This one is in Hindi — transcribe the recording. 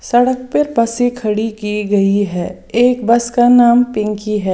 सड़क पे बसें खड़ी की गई है एक बस का नाम पिंकी है।